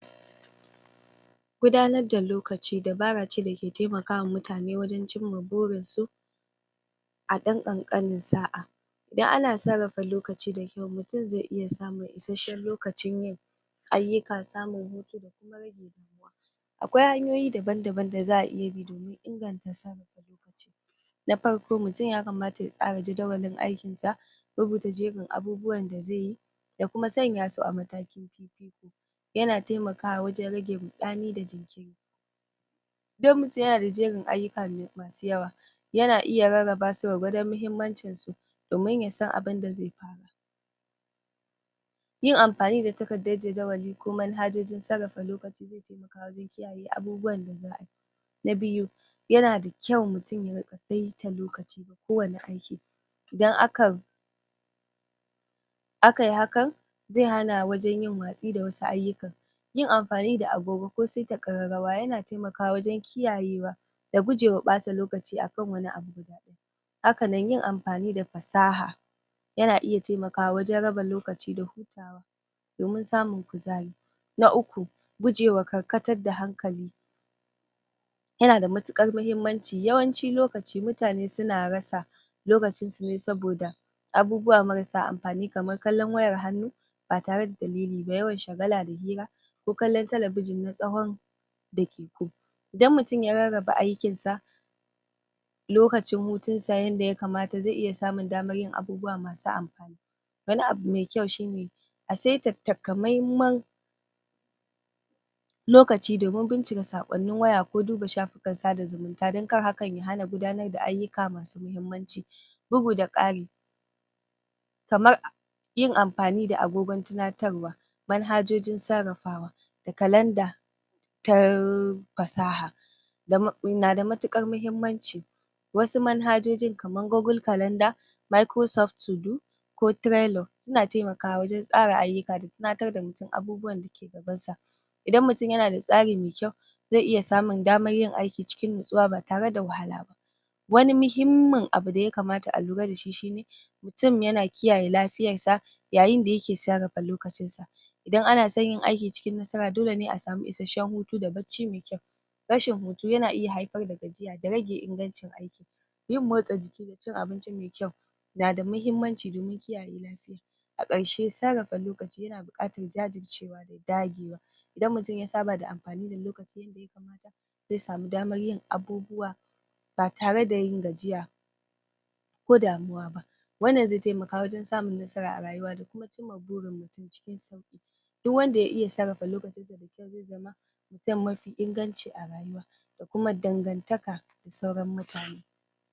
Gudanar da lokaci dabara ce dake taimaka wa mutane wajen cin ma burinsu a ɗan ƙanƙanin saʼa idan ana sarrafa lokaci da kyau mutun zai iya samun isasshen lokacin yin ayyuka samun hutu akwai hanyoyi daban daban da zaʼa iya bi domin inganta sarrafa lokaci na farko mutum yakamata ya tsara jadawalin aikinsa rubuta jerin abubuwan da zai yi ya kuma sanya su a matakin fifiko yana taimakawa wajen rage ruɗani da jinkiri idan mutun yana da jerin ayyuka masu yawa yana iya rarraba su gwargwadon muhimmancinsu domin ya san abinda zai fara yi yin amfani da takardar jadawali ko manhajojin sarrafa lokaci zai taimaka wajen kiyaye abubuwan da zaʼayi na biyu yana da kyau mutun ya riƙa saita lokaci kowani aiki idan akayi hakan zai hana wajen yin watsi da wasu ayyukan yin amfani da agogo ko saita ƙararrawa yana taimakawa wajen kiyayewa da guje wa ɓata lokaci akan wani abu na daban hakanan yin ampani da pasaha yana iya taimakawa wajen raba lokaci da hutawa domin samun kuzari na uku gujewa karkatar da hankali yana da matukar muhimmanci yawanci lokaci mutane suna rasa lokacinsu ne saboda abubuwa marasa ampani kaman kallon wayar hannu ba tare da dalili ba yawan shagala da hira ko kallon talabijin na tsawon daƙiƙu idan mutun ya rarraba aikin sa lokacin hutunsa yanda yakamata zai iya samun daman yin abubuwa masu amfani wani abu mai kyau shine a saita takamaiman lokaci domin bincika saƙonnin waya ko duba shafukan sada zumunta don kar hakan ya hana gudanar da ayyuka masu muhimmanci bugu da ƙari kamar yin ampani da agogon tinatarwa manhajojin sarrafawa da kalanda ta pasaha na da matuƙar muhimmanci wasu manhajojin kaman gogul kalanda mikuro sof tudu ko tirelo suna taimakawa wajen tsara ayyuka da tinatar da mutun abubuwan dake gabansa idan mutun yana da tsari mai kyau zai iya samun daman yin aiki cikin natsuwa ba tare da wahala ba wani muhimmin abu da yakamata a lura dashi shine mutun yana kiyaye lafiyarsa yayin da yake sarrafa lokacin sa idan ana son yin aiki cikin nasara dole ne a samu isasshen hutu da bacci mai kyau rashin hutu yana iya haifar da gajiya da rage ingancin aiki yin motsa jiki da cin abinci mai kyau na da muhimmanci domin kiyaye lafiya a ƙarshe sarrafa lokaci yana buƙatan jajircewa da dagewa idan mutun ya saba da ampani da lokaci yadda yakamata zai samu daman yin abubuwa ba tare da yin gajiya ko damuwa ba wannan zai taimaka wajen samun nasara a rayuwa da kuma cin ma burin mutun cikin sauƙi duk wanda ya iya sarrafa lokacinsa zai zama mafi inganci a rayuwa da kuma dangantaka da sauran mutane